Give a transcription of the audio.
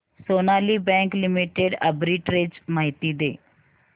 Sonali bank limited arbitrage माहिती दे